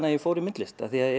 að ég fór í myndlist af því